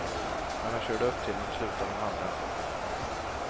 När han körde upp till dem slutade de hamra.